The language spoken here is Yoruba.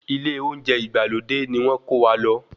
Ilé olóúnjẹ ìgbàlódé ni wọ́n ń kówa lọ.